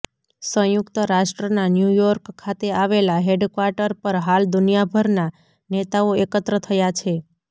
સંયુક્ત રાષ્ટ્રના ન્યૂયોર્ક ખાતે આવેલા હેડક્વાર્ટર પર હાલ દુનિયાભરના નેતાઓ એકત્ર થયા છે